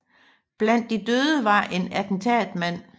Blandt de døde var en attentatmand